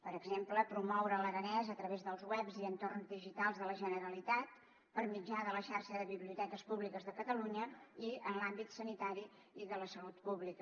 per exemple promoure l’aranès a través dels webs i entorns digitals de la generalitat per mitjà de la xarxa de biblioteques públiques de catalunya i en l’àmbit sanitari i de la salut pública